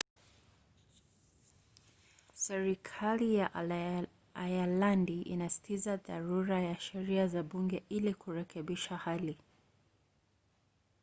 serikali ya ayalandi inasisitiza dharura ya sheria za bunge ili kurekebisha hali